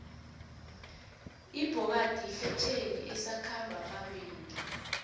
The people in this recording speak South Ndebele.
ibhokadi yifetjheni esakhamba phambili